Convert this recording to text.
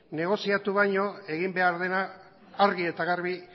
negoziatu baino egin behar dena argi eta garbi